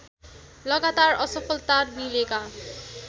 लगातार असफलता मिलेका